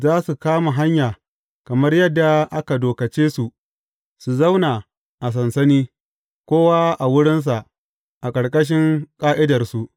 Za su kama hanya kamar yadda aka dokace su su zauna a sansani, kowa a wurinsa a ƙarƙashin ƙa’idarsu.